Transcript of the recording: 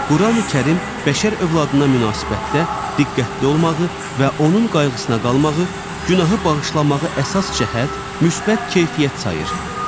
Qurani-Kərim bəşər övladına münasibətdə diqqətli olmağı və onun qayğısına qalmağı, günahı bağışlamağı əsas cəhət müsbət keyfiyyət sayır.